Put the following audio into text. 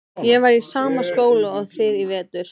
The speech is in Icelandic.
Ég var í sama skóla og þið í vetur.